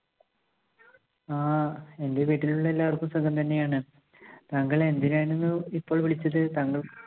ആ. എന്റെ വീട്ടിലുള്ള എല്ലാവർക്കും സുഖം തന്നെയാണ്. താങ്കൾ എന്തിനായിരുന്നു ഇപ്പോൾ വിളിച്ചത്? താങ്കൾ